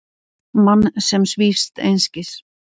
Mann sem svífst einskis.